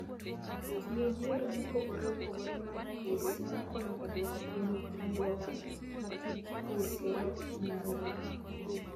Tiyo gi yore mopogore opogore mag pur nyalo konyo e dwoko piny chandruoge ma tij pur kelo ne alwora.